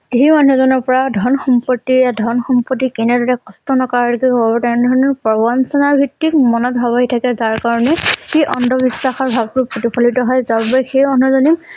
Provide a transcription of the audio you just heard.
সেই মানুহ জনৰ পৰা ধন সম্পত্তি ধন সম্পত্তি কেনেদৰে কষ্ট নকৰাকৈ কৰিব তেনে ধৰণৰ প্ৰবঞ্চনা ভিত্তিক মনত ভাৱ আহি থাকে যাৰ কাৰণে সেই অন্ধ বিশ্বাসৰ ভাব বোৰ প্ৰতিফলিত হয় যাৰ বাবে সেই মানুহ জনে